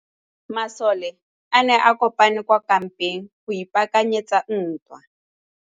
Masole a ne a kopane kwa kampeng go ipaakanyetsa ntwa.